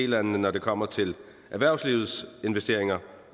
landene når det kommer til erhvervslivets investeringer